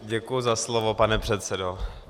Děkuji za slovo, pane předsedo.